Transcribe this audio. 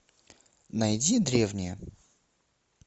найди древние